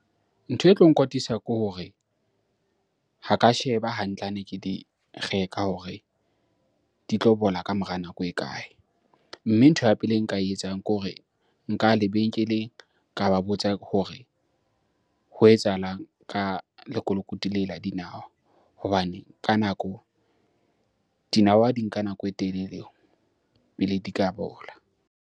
Ntho e tlo nkwatisa ke hore ha ka sheba hantle hane ke di reka hore di tlo bola ka mora nako e kae? Mme ntho ya pele e nka e etsang ke hore nka ya lebenkeleng ka ba botsa ke hore ho etsahalang ka lekolokoti le la dinawa hobane ka nako dinawa di nka nako e telele pele di ka bola.